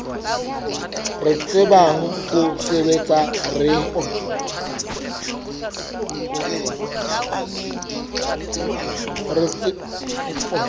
re tsebang ho sebetsa re